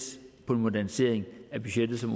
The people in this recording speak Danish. på en modernisering af budgettet som